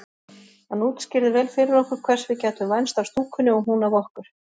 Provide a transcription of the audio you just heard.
Hann útskýrði vel fyrir okkur hvers við gætum vænst af stúkunni og hún af okkur.